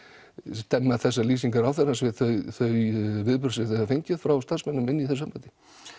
stemma þessar lýsingar ráðherrans við þau viðbrögð sem þið hafið fengið frá starfsmönnum inn í þessu embætti